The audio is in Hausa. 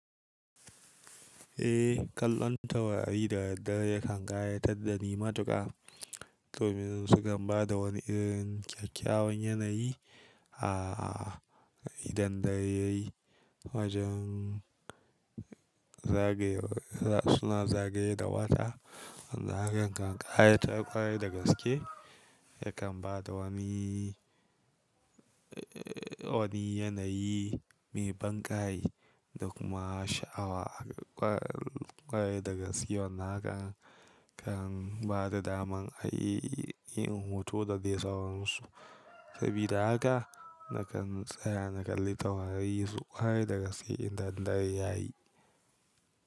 Eh, kallon taurari da daddare yakan gayyatar da ni matuƙa domin su kan ba da wani irin kyakkyawan yanayi a idan dare yayi wajen zagaye suna zagaye da wata. Wannan hakan kan ƙayatar kwarai da gaske yakan ba da wani, wani yanayi mai banƙai da kuma sha'awa. Ƙware dagaske wannan hakan kan ba da daman a yi hoto da dai sauransu. Sabida haka nakan tsaya na kalli taurari ƙwarai dagaske idan dare yayi.